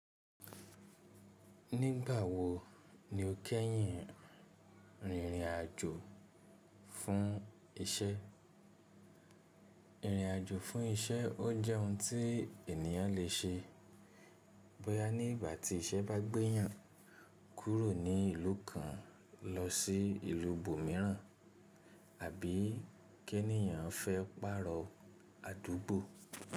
Nígbà wo ni o kẹ́yìn rìnrìn àjò fún isẹ́? Rìnrìn àjò fún isẹ́ ó jẹ́ ohun tí ènìyàn le ṣe bọ́yá ní ìgbà tí isẹ́ bá gbé yàn kúrò ní ìlú kan lọ sí ìlú ibòmíràn àbí kí ènìyàn fẹ́ pààrọ̀ àdúgbò.